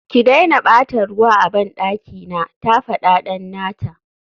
ki daina bata ruwa a bandaki na, ta fada dan nata